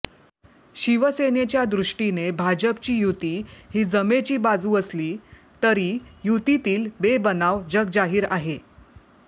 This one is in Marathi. शिवसेनेच्या दृष्टीने भाजपची युती ही जमेची बाजू असली तरी युतीतील बेबनाव जगजाहीर आहे